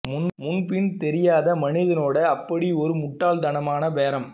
முன்பின் தெரியாத மனிதனோடு அப்படி ஒரு முட்டாள்தனமான பேரம்